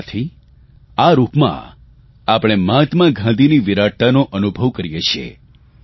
અને આથી આ રૂપમાં આપણે મહાત્મા ગાંધીની વિરાટતાનો અનુભવ કરીએ છીએ